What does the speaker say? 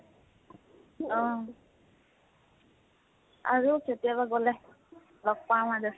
অহ, আৰু কেতিয়াবা গলে, লগ পাম আৰু।